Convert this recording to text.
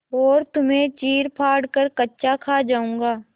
और तुम्हें चीरफाड़ कर कच्चा खा जाऊँगा